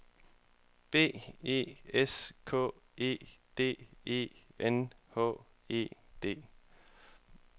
B E S K E D E N H E D